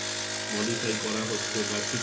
modify করা হচ্ছে বা ঠিক